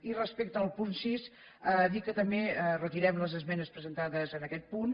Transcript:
i respecte al punt sis dir que també retirem les esmenes presentades en aquest punt